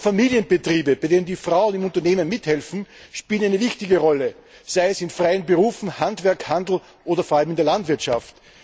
Auch Familienbetriebe, bei denen die Frauen im Unternehmen mithelfen, spielen eine wichtige Rolle, sei es in freien Berufen, im Handwerk, im Handel oder vor allem in der Landwirtschaft.